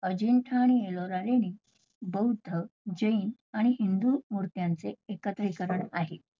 अजिंठा आणि एलोरा लेणी बौद्ध, जैन आणि हिंदू मुर्त्यांचे एकत्रीकरण आहे.